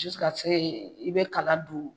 i bɛ kala don.